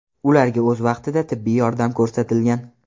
Ularga o‘z vaqtida tibbiy yordam ko‘rsatilgan.